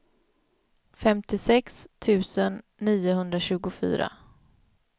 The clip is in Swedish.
femtiosex tusen niohundratjugofyra